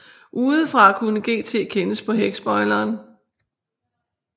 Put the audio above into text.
Udefra kunne GT kendes på hækspoileren